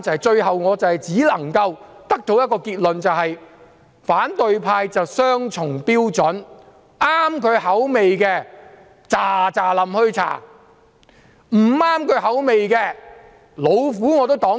最後，我只能夠得出一個結論：反對派持雙重標準，合乎他們口味的，便立即調查；不合乎他們口味的，無論怎樣都要擋住。